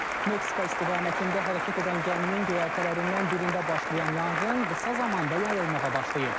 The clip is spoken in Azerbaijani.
Meksika istiqamətində hərəkət edən gəminin göyərtələrindən birində başlayan yanğın qısa zamanda yayılmağa başlayıb.